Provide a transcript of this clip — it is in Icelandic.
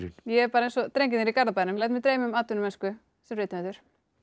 er eins og drengirnir í Garðabænum læt mig dreyma um atvinnumennsku sem rithöfundur